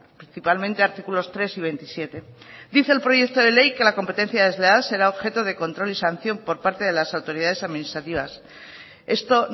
principalmente artículos tres y veintisiete dice el proyecto de ley que la competencia desleal será objeto de control y sanción por parte de las autoridades administrativas esto